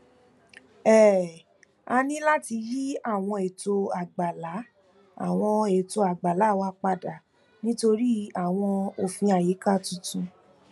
um a ní láti yí àwọn eto àgbàlá àwọn eto àgbàlá wa padà nítorí àwọn òfin àyíká tuntun